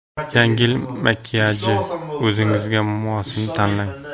Yangi yil makiyaji: o‘zingizga mosini tanlang.